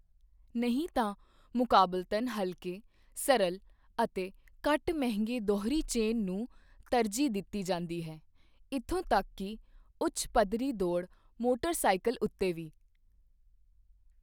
ਨਹੀਂ ਤਾਂ, ਮੁਕਾਬਲਤਨ ਹਲਕੇ, ਸਰਲ ਅਤੇ ਘੱਟ ਮਹਿੰਗੇ ਦੂਹਰੀ ਚੇਨ ਨੂੰ ਤਰਜੀਹ ਦਿੱਤੀ ਜਾਂਦੀ ਹੈ, ਇੱਥੋਂ ਤੱਕ ਕਿ ਉੱਚ ਪੱਧਰੀ ਦੌੜ ਮੋਟਰ ਸਾਈਕਲ ਉੱਤੇ ਵੀ।